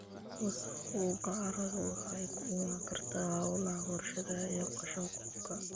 Wasakhowga carradu waxa ay ka iman kartaa hawlaha warshadaha iyo qashin-qubka.